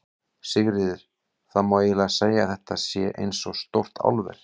Sigríður: Það má eiginlega segja að þetta sé eins og stórt álver?